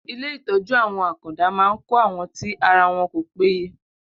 Ilé ìtọ́jú àwọn àkàndá ma ń kọ́ àwọn tì ara wọn kò péye.